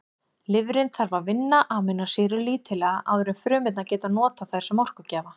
Lifrin þarf að vinna amínósýrur lítillega áður en frumurnar geta notað þær sem orkugjafa.